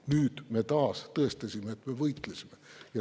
Nüüd me tõestasime taas, et me võitlesime.